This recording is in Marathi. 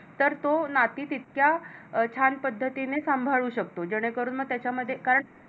तर तो नाती तितक्या छान पद्धतीने सांभाळू शकतो जेणेकरून म त्याच्यामध्ये कारण